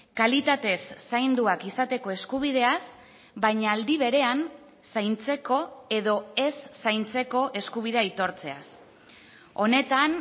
kalitatez zainduak izateko eskubideaz baina aldi berean zaintzeko edo ez zaintzeko eskubidea aitortzeaz honetan